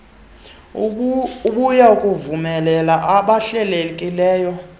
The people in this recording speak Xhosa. obuya kuvumela abahlelelekileyo